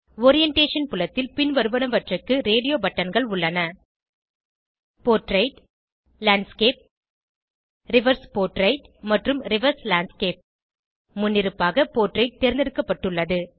orientation புலத்தில் பின்வருவனவற்றுக்கு radio பட்டன்கள் உள்ளன போர்ட்ரெய்ட் லேண்ட்ஸ்கேப் ரிவர்ஸ் போர்ட்ரெய்ட் மற்றும் ரிவர்ஸ் லேண்ட்ஸ்கேப் முன்னிருப்பாக போர்ட்ரெய்ட் தேர்ந்தெடுக்கப்பட்டுள்ளது